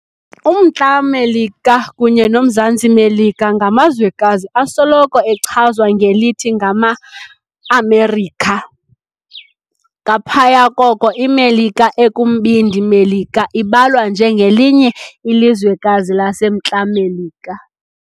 Umntla Melika kunye nomZantsi Melika ngamazwekazi asoloko echazwa ngelithi ngama "NgamaAmerika". Ngaphaya koko iMelika ekumbindi Melika ibalwa nje ngelinye ilizwekazi laseMntla Melika.